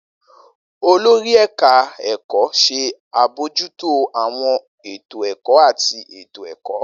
Olori eka eko ṣe abojuto awọn eto ẹkọ ati eto-ẹkọ